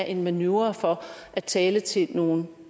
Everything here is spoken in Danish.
en manøvre for at tale til nogle